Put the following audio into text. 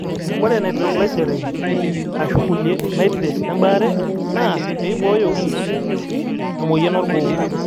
ore Nitroglycerin ashuu kulie nitrate embaare naa pee eibooyo emion orgoo.